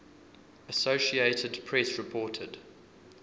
associated press reported